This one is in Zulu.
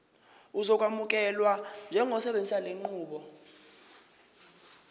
uzokwamukelwa njengosebenzisa lenqubo